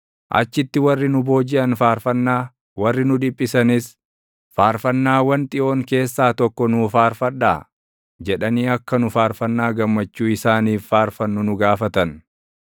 achitti warri nu boojiʼan faarfannaa, warri nu dhiphisanis, “Faarfannaawwan Xiyoon keessaa tokko nuu faarfadhaa!” jedhanii akka nu faarfannaa gammachuu isaaniif faarfannu nu gaafatan.